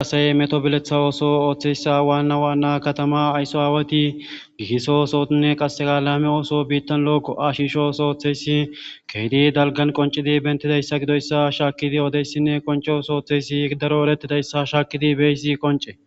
asaye meto bileththa ooso ooththeyssa waanna waanna katama aysso aawati giisso osoinne qasega laame ooso biittan lookko ashisho sooththeysi keedi dalgan qoncidi bentidayssa gidoyssa shaakidi oodeyssinne qoncosooththeysi daro erettidayssa shaakidi beyssi qonce